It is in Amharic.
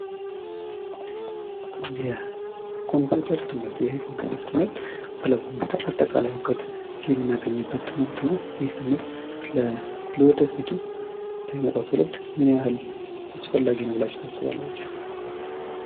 የኮምፒውተር ትምህርት ይህ የኮምፒውተር ትምህርት ስለ ኮምፒውተር አጠቃላይ እውቀት የምናገኝበት ትምህርት ነው። ይህ ትምህርት ለወደፊቱ ለሚመጣው ትውልድ ምን ያህል አስፈላጊ ነው ብላችሁ ታስባላችሁ?